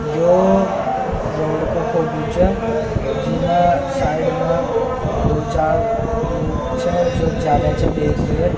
यह रोड को फोटो छ जी मा साइड मे दो-चार लोग छ जो जा रेहा छ बेग लेर।